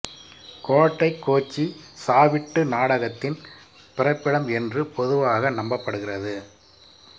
கோட்டை கோச்சி சாவிட்டு நாடகத்தின் பிறப்பிடம் என்று பொதுவாக நம்பப்படுகிறது